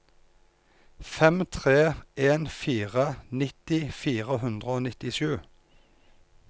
fem tre en fire nitti fire hundre og nittisju